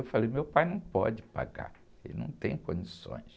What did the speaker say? Eu falei, meu pai não pode pagar, ele não tem condições.